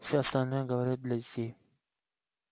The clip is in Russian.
всё остальное говорит для детей